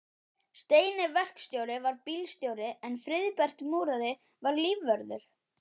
Steini verkstjóri var bílstjóri en Friðbert múrari var lífvörður.